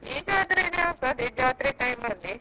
ಈಗ ಆದ್ರೆ ಸ ಅದೇ ಜಾತ್ರೆ time ಅಲ್ಲಿ.